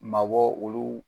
Mabɔ olu